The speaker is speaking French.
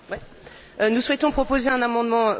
Nous souhaitons proposer un amendement oral.